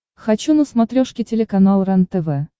хочу на смотрешке телеканал рентв